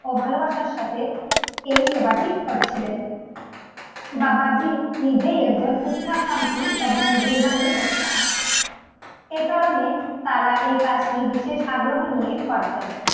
ও ভালোবাসার সাথে এই সেবাটি করছিলেন বাবাজি নিজেই একজন উচ্ছাকাঙ্খী এবং গুরবানী ও তার এই কারণে তারা এই কাজ টি বিশেষ আগ্রহ নিয়ে করতেন